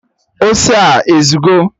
Ose a ezugo?